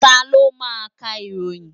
Taló ma ń ka ìròyìn?